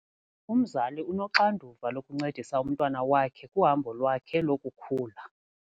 Umzali unoxanduva lokuncedisa umntwana wakhe kuhambo lwakhe lokukhula.